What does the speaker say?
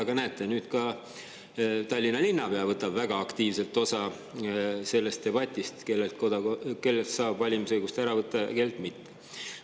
Aga näete, nüüd ka Tallinna linnapea võtab väga aktiivselt osa sellest debatist, et kellelt saab valimisõigust ära võtta ja kellelt mitte.